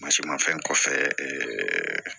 mafɛn kɔfɛ